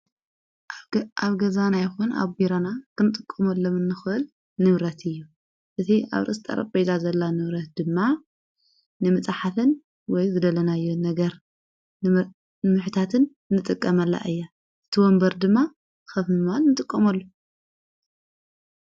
ኣብ ገዛና ይኹን ኣብ ቢራና ክንጥቆመ ለምእንኸል ንብረት እዩ እቲ ኣብ ርስጠር ቤዛ ዘላ ንውረት ድማ ንምጻሓትን ወይ ዘደለናዮ ነገር ንምኅታትን ንጥቀመላ እያ ዝትወንበር ድማ ኸፍምማል ንጥቆመሉ::